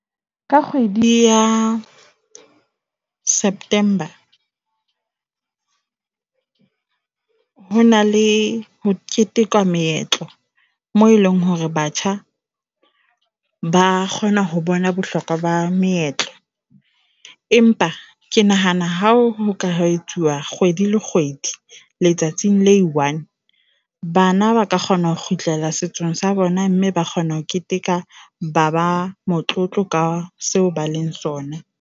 Ka kgwedi ya September ho na le ho ketekwa meetlo moo eleng hore batjha ba kgona ho bona bohlokwa ba meetlo. Empa ke nahana hao ka etsuwa kgwedi le kgwedi. Letsatsing la e one bana ba ka kgona ho kgutlela setso sa bona mme ba kgona ho keteka, ba ba motlotlo ka seo ba leng sona.